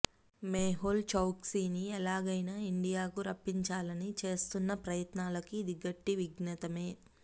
మేహుల్ చౌక్సీని ఎలాగైనా ఇండియాకు రప్పించాలని చేస్తున్న ప్రయత్నాలకు ఇది గట్టి విఘాతమే